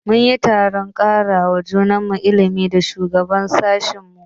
Mun yi taron karawa juna ilimi da shugaban sashi na mu.